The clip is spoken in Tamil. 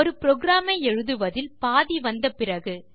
ஒரு புரோகிராம் ஐ எழுதுவதில் பாதி வந்த பிறகு